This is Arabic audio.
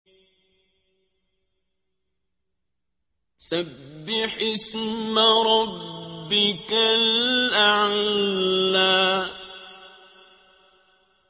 سَبِّحِ اسْمَ رَبِّكَ الْأَعْلَى